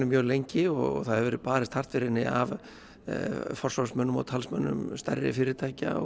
mjög lengi og það hefur verið barist hart fyrir henni af forsvarsmönnum og talsmönnum stærri fyrirtækja